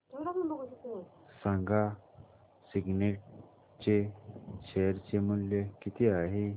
सांगा सिग्नेट चे शेअर चे मूल्य किती आहे